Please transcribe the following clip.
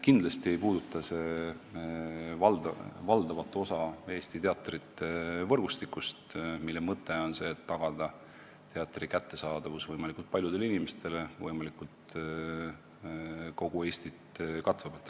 Kindlasti ei puuduta see valdavat osa Eesti teatrivõrgustikust, mille mõte on tagada teatri kättesaadavus võimalikult paljudele inimestele võimalikult kogu Eestit katvalt.